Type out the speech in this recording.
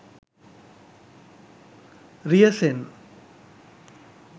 riyasen